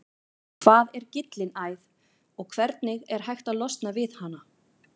Hvað er gyllinæð og hvernig er hægt að losna við hana?